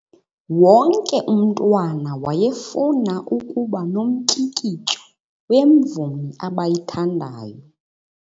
Wonke umntwana wayefuna ukuba nomtyikityo wemvumi abayithandayo.